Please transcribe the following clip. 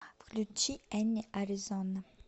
включи энни а р и з о н а